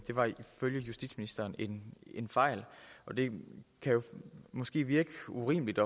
var ifølge justitsministeren en fejl og det kan måske virke urimeligt